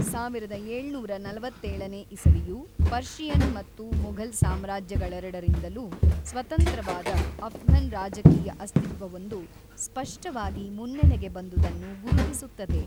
ಸಾವಿರದ ಏಳುನೂರ ನಲವತ್ತೇಳನೇ ಇಸವಿಯು ಪರ್ಷಿಯನ್ ಮತ್ತು ಮೊಘಲ್ ಸಾಮ್ರಾಜ್ಯಗಳೆರಡರಿಂದಲೂ ಸ್ವತಂತ್ರವಾದ ಅಫ್ಘನ್ ರಾಜಕೀಯ ಅಸ್ತಿತ್ವವೊಂದು ಸ್ಪಷ್ಟವಾಗಿ ಮುನ್ನೆಲೆಗೆ ಬಂದುದನ್ನು ಗುರುತಿಸುತ್ತದೆ.